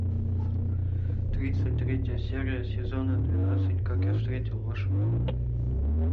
тридцать третья серия сезона двенадцать как я встретил вашу маму